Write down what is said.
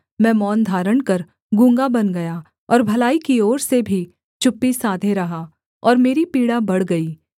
मैं मौन धारण कर गूँगा बन गया और भलाई की ओर से भी चुप्पी साधे रहा और मेरी पीड़ा बढ़ गई